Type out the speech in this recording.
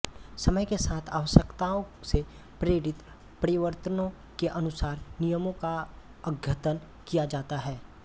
समय के साथ आवश्यकताओं से प्रेरित परिवर्तनों के अनुसार नियमों का अद्यतन किया जाता है